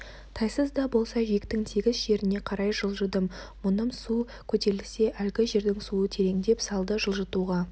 тайыз да болса жиектің тегіс жеріне қарай жылжыдым мұным су көтерілсе әлгі жердің суы тереңдеп салды жылжытуға